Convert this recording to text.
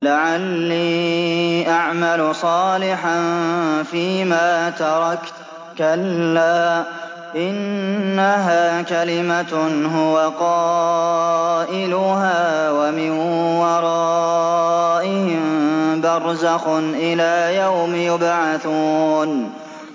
لَعَلِّي أَعْمَلُ صَالِحًا فِيمَا تَرَكْتُ ۚ كَلَّا ۚ إِنَّهَا كَلِمَةٌ هُوَ قَائِلُهَا ۖ وَمِن وَرَائِهِم بَرْزَخٌ إِلَىٰ يَوْمِ يُبْعَثُونَ